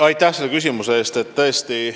Aitäh selle küsimuse eest!